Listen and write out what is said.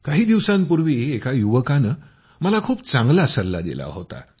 काही दिवसांपूर्वी एका युवकानं मला खूप चांगला सल्ला दिला होता